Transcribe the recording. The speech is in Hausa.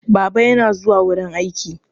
Baba yana zuwa wurin aiki.